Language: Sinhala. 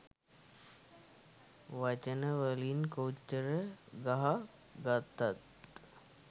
වචන වලින් කොච්චර ගහ ගත්තත්